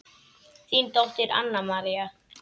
Þín dóttir, Anna María.